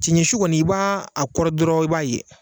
Cɛncɛnsu kɔni i b'a a kɔri dɔrɔn i b'a ye.